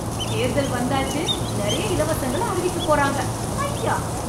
தேர்தல் வந்தாச்சு, நிறைய இலவசங்களை அறிவிக்க போறாங்க, ஹைய்யா